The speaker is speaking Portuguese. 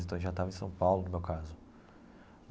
Então, a gente já estava em São Paulo, no meu caso.